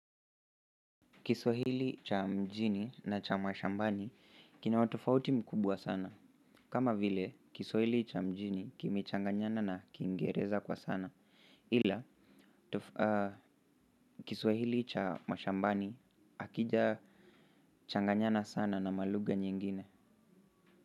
Kiswahili cha mjini na cha mashambani kina utofauti mkubwa sana. Kama vile kiswahili cha mjini kimechanganyana na kiingereza kwa sana ila kiswahili cha mashambani hakija changanyana sana na maluga nyingine.